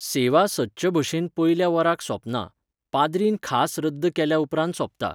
सेवा सदचे भशेन पयल्या वराक सोंपना, पाद्रीन खास रद्द केल्या उपरांत सोंपता.